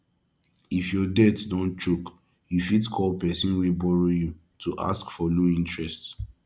if your debt don choke you fit call person wey borrow you to ask for low interest